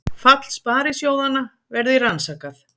Fall sparisjóðanna verði rannsakað